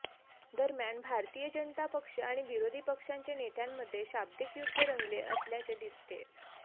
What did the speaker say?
दरम्यान भारतीय जनता पक्ष आणि विरोधी पक्षांच्या नेत्यांमध्ये शाब्दीक युद्ध रंगले असल्याचे दिसतेय